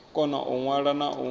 kona u ṅwala na u